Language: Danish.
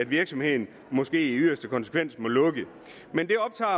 virksomheden måske i yderste konsekvens må lukke men